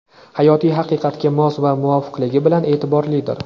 hayotiy haqiqatga mos va muvofiqligi bilan e’tiborlidir.